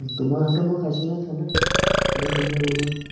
তোমাৰ হাতৰ মই খাইছো নহয় খানা, কিমান ধুনীয়া বনোৱা।